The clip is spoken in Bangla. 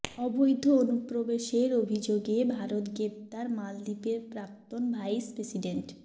অবৈধ অনুপ্রবেশের অভিযোগে ভারতে গ্রেফতার মালদ্বীপের প্রাক্তন ভাইস প্রেসিডেন্ট